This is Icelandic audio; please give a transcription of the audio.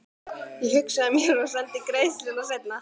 Ég hugsaði með mér: Sendi greiðsluna seinna.